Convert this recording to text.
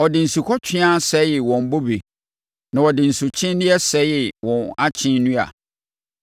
Ɔde asukɔtweaa sɛee wɔn bobe na ɔde nsukyeneeɛ sɛee wɔn ankye nnua.